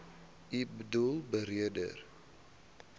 u boedel beredder